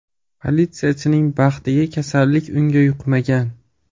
Politsiyachining baxtiga kasallik unga yuqmagan.